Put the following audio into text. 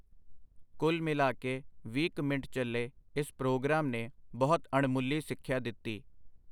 ਕੁੱਲ ਮਿਲਾ ਕੇ ਵੀਹ ਕ ਮਿੰਟ ਚੱਲੇ ਇਸ ਪ੍ਰੋਗਰਾਮ ਨੇ ਬਹੁਤ ਅਣਮੁੱਲੀ ਸਿੱਖਿਆ ਦਿੱਤੀ.